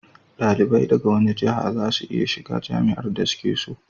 dalibai daga wani jaha za su iya shiga jami'ar da su ke so